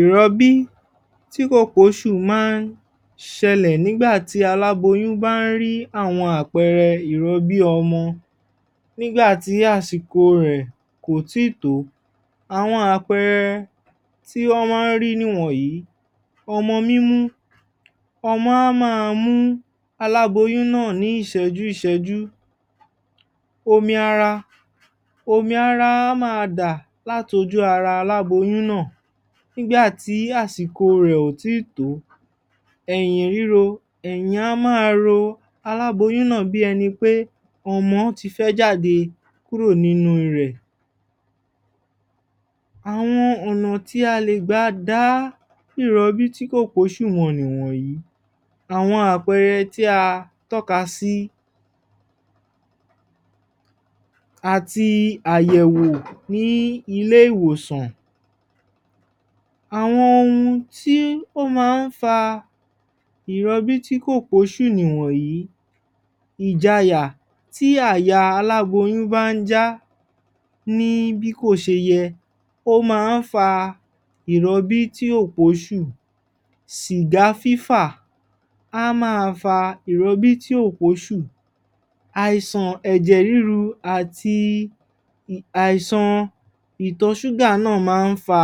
Ìrọb́i tí kò pé oṣù máa ń ṣẹlẹ̀, nígbà tí aláboyún bá ń rí àwọn àpẹẹrẹ ìrobí ọmọ, nígbà tí àsìkò rè kò í tí tó. Àwọn àpẹẹrẹ tí wọ́n máa ń rí nì wọ̀nyí; Ọmọ mímú: Ọmọ á maa mú aláboyún náà ńi ìṣẹ́jú ìṣẹ́jú. Omi ara: omi ara á maa dà láti ojú ara aláboyún náà, nígbà tí àsìkò rè ò tí í tó. Ẹ̀yìn ríro: Ẹ̀yìn á maa ro aláboyún náà bí ẹni pé ọmọ ti fẹ́ jáde kúrò nínú rè. Àwọn ọ̀nà tí a lè gbà dá ìrọbí tí kò pé oṣù mọ̀ nì wọ̀nyí: Àwọn àpẹẹrẹ tí a tọ́ka sí, Àti àyẹ̀wò ní ilé ìwòsàn. Àwọn ohun tí ó máa ń fa ìrọbí tí kò pé oṣù nì wọ̀nyí; Ìjayà: tí àyà aláboyún bá ń já bí kò ṣe yẹ,ó máa ń fa ìrọbí tí kò pé oṣù. Sìgá fífà a maa fa ìrobí tí ò pé oṣù Àìsàn ẹ̀jè ríru àti àìsàn ìtò ṣúgà náà á máa fa,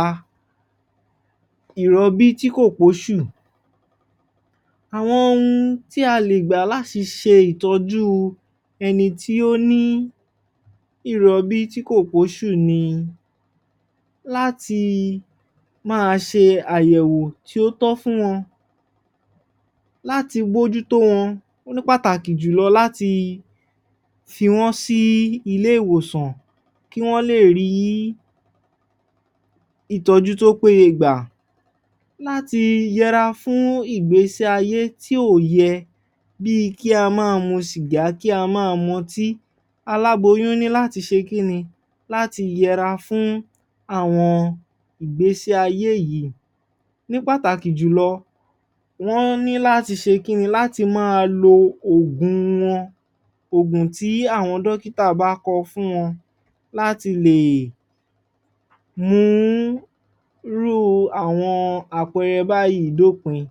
ìrọbí tí kò pé oṣù. Àwọn ohun tí a lè gbà láti ṣe ìtọ́jú ẹni tí ó ní ìrọbí tí kò pé oṣù ni; Láti máa ṣe àyèwò tí ó tọ́ fún wọn Láti bójú t́ó wón, ní pàtàkì jù lọ, láti fi wọ́n sí ilé ìwòsàn kí wọ́n lè rí ìtọ́jú tó péye gbà. Láti yẹra fún ìgbésé ayé tí ò yẹ, bí kí a maa mu sìgá, kí á maa mu ọtí. Aláboyún ní láti ṣe kínni? Láti yẹra fún àwọn ìgbésé ayé yìí. Ní pàtàkì jùlọ wọ́n ní láti ṣe kínni? Láti maa lo òògùn wọn, òògùn tí àwọn dókítà bá kọ fún wọn. láti mú irú àwọn àpẹẹrẹ báyìí dópin.